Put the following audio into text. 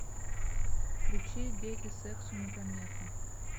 включи дети сексу не помеха